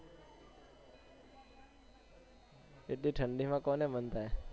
એટલી ઠંડી માં કોને મન થાય